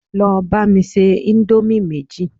Lọ bá mi se indomie méjì